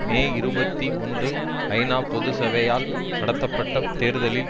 மே இருபத்தி ஒன்று ஐநா பொது சபையால் நடத்தப்பட்ட தேர்தலில்